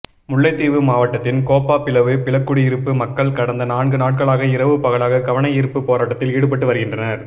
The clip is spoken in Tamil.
முல்லைத்தீவு மாவட்டத்தின் கேப்பாபிலவு பிலக்குடியிருப்பு மக்கள் கடந்த நான்கு நாட்களாக இரவு பகலாக கவனயீர்ப்புப் போராட்டத்தில் ஈடுபட்டு வருகின்றனர்